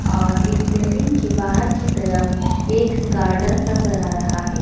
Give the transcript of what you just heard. और इस बिल्डिंग के बाहर की तरफ एक गार्डन नजर आ रहा है।